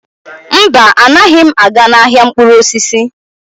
Mba, anaghị m aga n'ahịa mkpụrụ osisi.